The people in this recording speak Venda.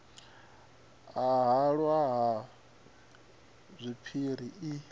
ya halwa ha zwipiri i